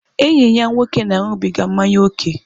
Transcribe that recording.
Enyi ya nwoke na-aṅụbiga mmanya ókè.